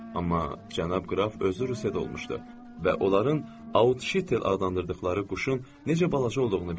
Amma cənab qraf özü Rusiyada olmuşdu və onların Autşitel adlandırdıqları quşun necə balaca olduğunu bilir.